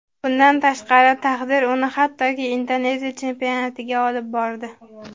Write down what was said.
Bundan tashqari taqdir uni hattoki Indoneziya chempionatiga olib bordi.